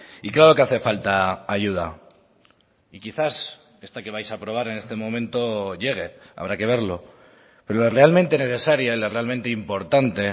y claro que hace falta ayuda y quizás esta que vais a aprobar en este momento llegue habrá que verlo pero la realmente necesaria y la realmente importante